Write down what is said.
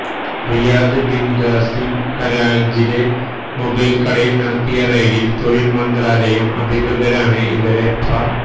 Riyadh bin Qasim ഹരാജിലെ mobile കടയിൽ നടത്തിയ റെയ്ഡിൽ തൊഴിൽ മന്ത്രാലയം അധികൃതരാണ് ഇവരെ പ